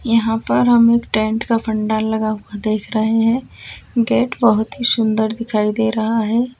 यहां पर हम एक टेंट का पंडाल लगा हुआ देख रहे हैं । गेट बहोत ही सुंदर दिखाई दे रहा है ।